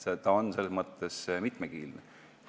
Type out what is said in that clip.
See on selles mõtte mitmekihiline.